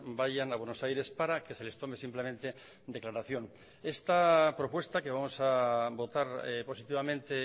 vayan a buenos aires para que se les tome simplemente declaración esta propuesta que vamos a votar positivamente